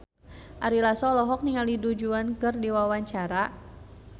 Ari Lasso olohok ningali Du Juan keur diwawancara